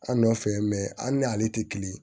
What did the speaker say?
An nɔfɛ an n'ale tɛ kelen ye